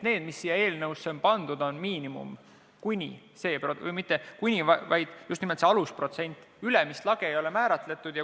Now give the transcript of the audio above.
See, mis siia eelnõusse on pandud, on miinimum, st just nimelt see alusprotsent, ülemist lage ei ole määratletud.